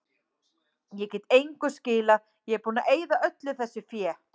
Ég get engu skilað, ég er búinn að eyða öllu þessu fé.